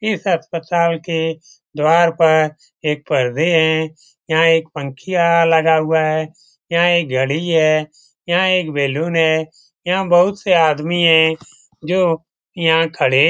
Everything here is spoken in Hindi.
इस अस्पताल के द्वार पर एक परदे हैं यहाँ एक पंखिया लगा हुआ है यहाँ एक घडी है यहाँ एक बैलून है यहाँ बहुत से आदमी हैं जो यहाँ खड़े --